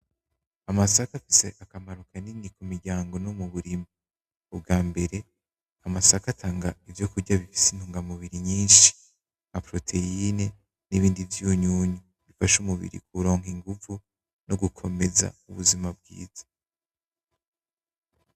Amasaka afise akamaro kanini k'umiryango no muburima, umbwabere amasaka atanga ivyo kurya bifise intungamubiri nyinshi nka proteine nibindi vyunyunyu bifasha umubiri kuronka inguvu no gukomeza ubuzima bwiza.